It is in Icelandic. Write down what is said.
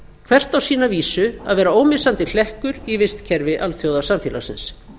hvert á sína vísu að vera ómissandi hlekkur í vistkerfi alþjóðasamfélagsins